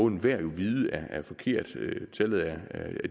enhver jo må vide at det er forkert tallet er